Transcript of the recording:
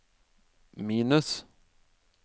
minus